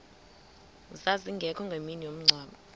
zazingekho ngemini yomngcwabo